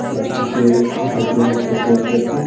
plastic के डब्बे मे इसको पैक कर के